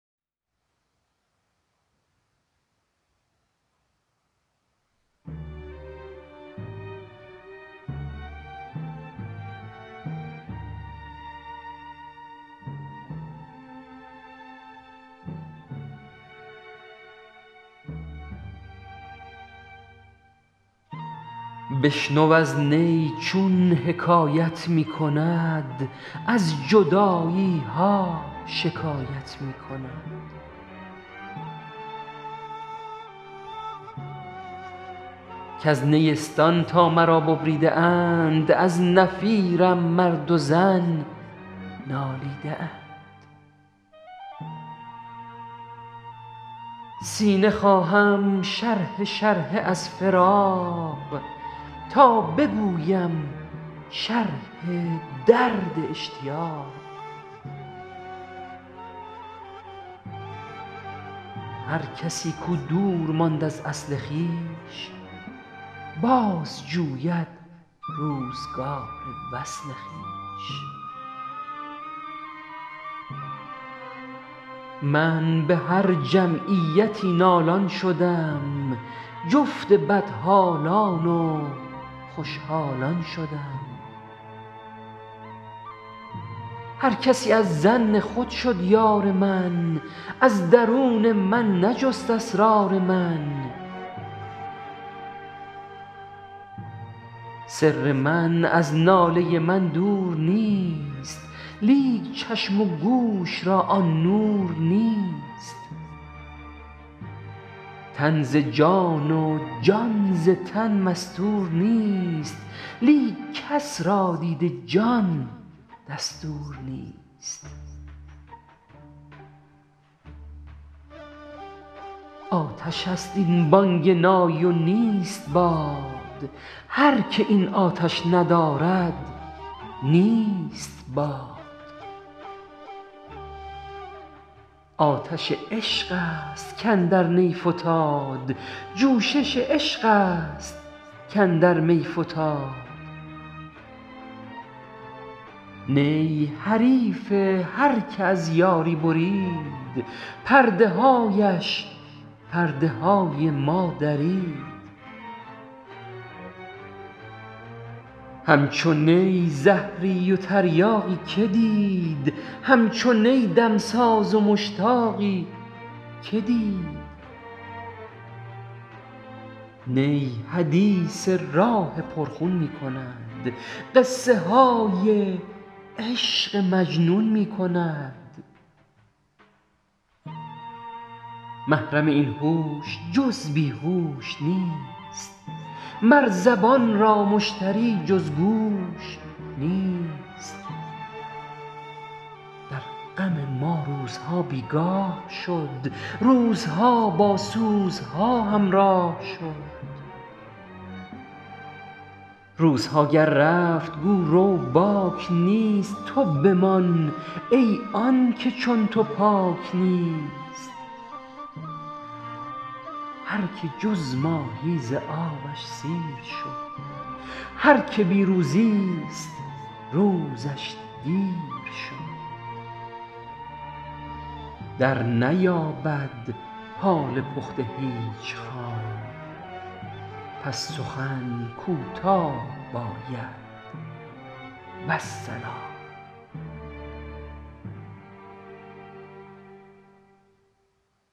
بشنو این نی چون شکایت می کند از جدایی ها حکایت می کند کز نیستان تا مرا ببریده اند در نفیرم مرد و زن نالیده اند سینه خواهم شرحه شرحه از فراق تا بگویم شرح درد اشتیاق هر کسی کو دور ماند از اصل خویش باز جوید روزگار وصل خویش من به هر جمعیتی نالان شدم جفت بدحالان و خوش حالان شدم هر کسی از ظن خود شد یار من از درون من نجست اسرار من سر من از ناله من دور نیست لیک چشم و گوش را آن نور نیست تن ز جان و جان ز تن مستور نیست لیک کس را دید جان دستور نیست آتش است این بانگ نای و نیست باد هر که این آتش ندارد نیست باد آتش عشق است کاندر نی فتاد جوشش عشق است کاندر می فتاد نی حریف هر که از یاری برید پرده هایش پرده های ما درید همچو نی زهری و تریاقی که دید همچو نی دمساز و مشتاقی که دید نی حدیث راه پر خون می کند قصه های عشق مجنون می کند محرم این هوش جز بی هوش نیست مر زبان را مشتری جز گوش نیست در غم ما روزها بیگاه شد روزها با سوزها همراه شد روزها گر رفت گو رو باک نیست تو بمان ای آنکه چون تو پاک نیست هر که جز ماهی ز آبش سیر شد هر که بی روزی ست روزش دیر شد در نیابد حال پخته هیچ خام پس سخن کوتاه باید والسلام بند بگسل باش آزاد ای پسر چند باشی بند سیم و بند زر گر بریزی بحر را در کوزه ای چند گنجد قسمت یک روزه ای کوزه چشم حریصان پر نشد تا صدف قانع نشد پر در نشد هر که را جامه ز عشقی چاک شد او ز حرص و عیب کلی پاک شد شاد باش ای عشق خوش سودای ما ای طبیب جمله علت های ما ای دوای نخوت و ناموس ما ای تو افلاطون و جالینوس ما جسم خاک از عشق بر افلاک شد کوه در رقص آمد و چالاک شد عشق جان طور آمد عاشقا طور مست و خر موسیٰ‏ صعقا با لب دمساز خود گر جفتمی همچو نی من گفتنی ها گفتمی هر که او از هم زبانی شد جدا بی زبان شد گر چه دارد صد نوا چون که گل رفت و گلستان درگذشت نشنوی زآن پس ز بلبل سرگذشت جمله معشوق است و عاشق پرده ای زنده معشوق است و عاشق مرده ای چون نباشد عشق را پروای او او چو مرغی ماند بی پر وای او من چگونه هوش دارم پیش و پس چون نباشد نور یارم پیش و پس عشق خواهد کاین سخن بیرون بود آینه غماز نبود چون بود آینه ت دانی چرا غماز نیست زآن که زنگار از رخش ممتاز نیست